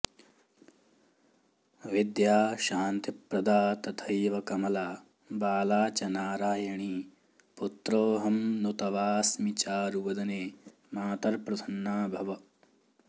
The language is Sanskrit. विद्या शान्तिप्रदा तथैव कमला बाला च नारायणी पुत्रोऽहं नु तवास्मि चारुवदने मातर्प्रसन्ना भव